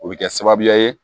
O bɛ kɛ sababuya ye